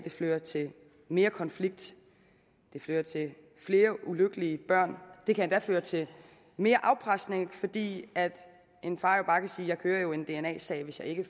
fører til mere konflikt at det fører til flere ulykkelige børn det kan endda føre til mere afpresning fordi en far jo bare kan sige jeg kører en dna sag hvis jeg ikke